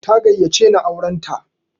Ta gayyace ni auran ta.